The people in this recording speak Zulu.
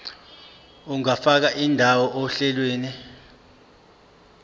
ungafaka indawo ohlelweni